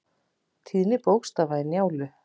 Tíðni bókstafa í Njálu.